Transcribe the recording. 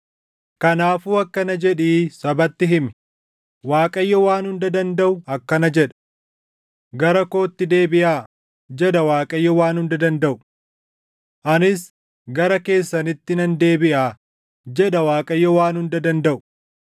Kanaafuu akkana jedhii sabatti himi; Waaqayyo Waan Hunda Dandaʼu akkana jedha; ‘Gara kootti deebiʼaa’ jedha Waaqayyo Waan Hunda Dandaʼu; ‘Anis gara keessanitti nan deebiʼaa’ jedha Waaqayyo Waan Hunda Dandaʼu.